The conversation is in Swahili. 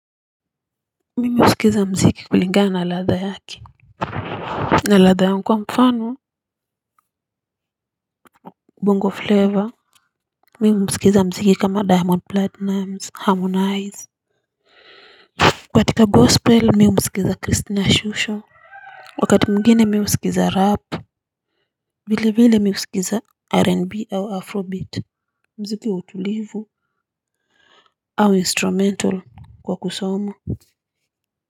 Mimi husikiza muziki kilingana na ladha yaki. Na ladha yangu, kwa mfano bongo flava, mimi husikiza muziki kama Diamond Platinum, Harmonize katika gospel mimi humsikiza christina shusho, wakati mwingine mimi husikiza rap vilevile mimi husikiza r n b au afrobeat. Muziki wa utulivu au instrument kwa kusoma.